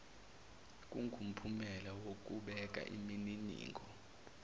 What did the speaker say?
kungumphumela wokubeka imininingo